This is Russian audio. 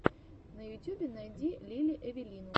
на ютюбе найди лили эвелину